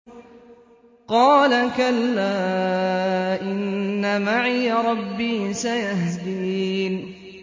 قَالَ كَلَّا ۖ إِنَّ مَعِيَ رَبِّي سَيَهْدِينِ